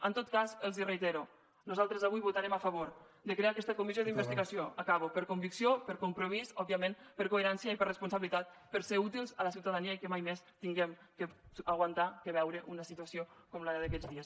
en tot cas els ho reitero nosaltres avui votarem a favor de crear aquesta comissió d’investigació acabo per convicció per compromís òbviament per coherència i per responsabilitat per ser útils a la ciutadania i que mai més haguem d’aguantar de veure una situació com la d’aquests dies